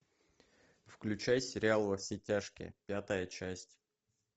включай сериал во все тяжкие пятая часть